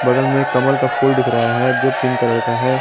बगल में एक कमल का फूल दिख रहा है जो पिंक कलर का है।